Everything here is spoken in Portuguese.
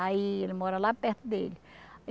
Aí ele mora lá perto dele.